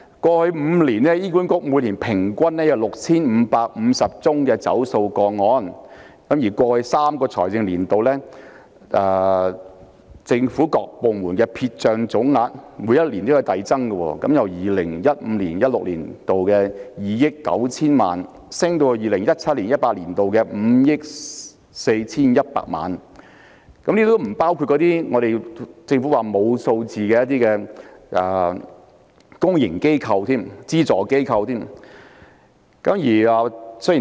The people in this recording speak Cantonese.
過去5年，醫院管理局每年平均有 6,550 宗欠費個案，而過去3個財政年度，政府各部門的撇帳總額每年遞增，由 2015-2016 年度的2億 9,000 萬元上升至 2017-2018 年度的5億 4,100 萬元，這尚不包括政府表示未能提供數據的公營機構及資助機構。